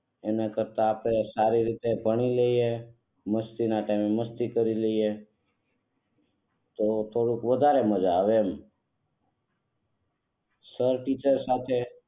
એના કરતા આપણે સારી રીતે ભણી લઈયે, મસ્તી ના ટાઈમ એ મસ્તી કરી લઈયે તો થોડું વધારે મજા આવે એમ સર ટીચર સાથે.